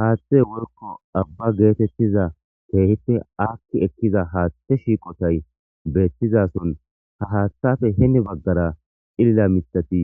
Haaththe worko abba geetettiza keehipte akki ekkiza haaththe shiiqotay beethtizason ha haaththafe heni baggara cilila mitati